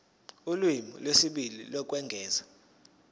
ulimi lwesibili lokwengeza